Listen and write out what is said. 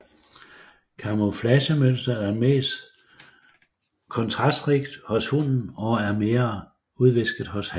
Kamuflagemønsteret er mest kontrastrigt hos hunnen og er mere udvisket hos hannen